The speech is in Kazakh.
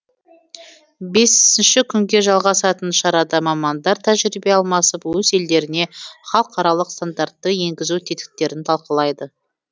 бесінші күнге жалғасатын шарада мамандар тәжірибе алмасып өз елдерінде халықаралық стандартты енгізу тетіктерін талқылайды